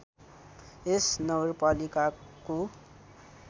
यस नगरपालिकाको